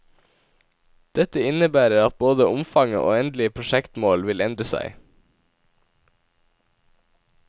Dette innebærer at både omfanget og endelig prosjektmål vil endre seg.